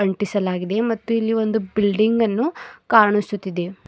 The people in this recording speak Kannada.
ಅಂಟಿಸಲಾಗಿದೆ ಮತ್ತು ಇಲ್ಲಿ ಒಂದು ಬಿಲ್ಡಿಂಗ್ ಅನ್ನು ಕಾಣಿಸುತ್ತಿದೆ.